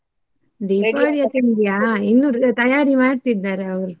ತಿಂಡಿಯಾ? ಇನ್ನು ತಯಾರಿ ಮಾಡ್ತಿದ್ದಾರೆ ಅವರು.